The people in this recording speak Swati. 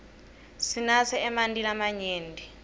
sinatse emanti lamanyenti